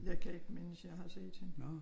Jeg kan ikke mindes at jeg har set hende